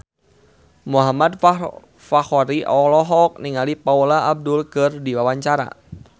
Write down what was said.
Muhammad Fachroni olohok ningali Paula Abdul keur diwawancara